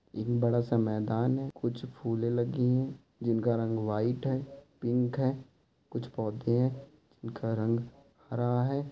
ये बड़ा सा मैदान है। कुछ फुले लगी है जिनका रंग वाइट है पिंक है कुछ पौधे है। घर रंग हरा है।